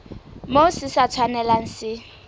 moo se sa tshwanelang se